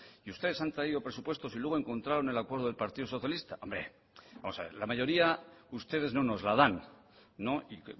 y ustedes han traído presupuestos y luego encontraron el acuerdo del partido socialista hombre vamos a ver la mayoría ustedes no nos la dan y